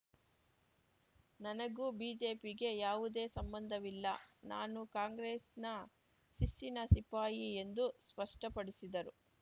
ನನಗೂ ಬಿಜೆಪಿಗೆ ಯಾವುದೇ ಸಂಬಂಧವಿಲ್ಲ ನಾನು ಕಾಂಗ್ರೆಸ್ಸಿನ ಶಿಸ್ಸಿನ ಸಿಪಾಯಿ ಎಂದು ಸ್ಪಷ್ಟಪಡಿಸಿದರು